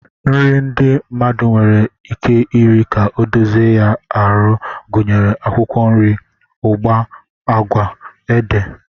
Nri ndị mmadụ nwere ike iri ka ọ dozie ya ahụ gụnyere akwụkwọ nri, ụgba, agwa, ede,